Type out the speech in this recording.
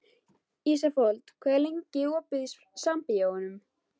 Ísafold, hvað er lengi opið í Sambíóunum?